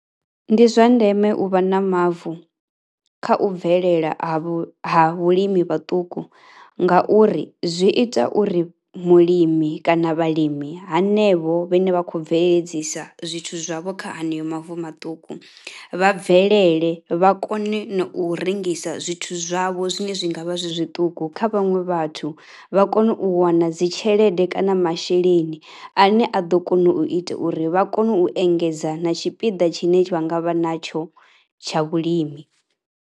Ndi zwa ndeme u vha na mavu kha u bvelela ha ha vhulimi vhuṱuku ngauri zwi ita uri mulimi kana vhalimi hanevho vhane vha khou bveledzisa zwithu zwavho kha haneyo mavu maṱuku vha bvelele, vha kone na u rengisa zwithu zwavho zwine zwi nga vha zwi zwiṱuku kha vhaṅwe vhathu. Vha kone u wana dzi tshelede kana masheleni ane a ḓo kona u ita uri vha kone u engedza na tshipiḓa tshine vha nga vha natsho tsha vhulimi.